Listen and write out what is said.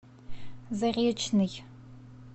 заречный